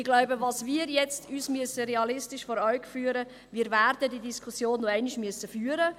Ich glaube, was wir uns jetzt realistisch vor Augen führen müssen ist, dass wir diese Diskussion noch einmal führen werden müssen.